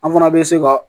An fana bɛ se ka